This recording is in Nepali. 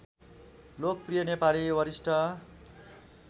लोकप्रिय नेपाली वरिष्ठ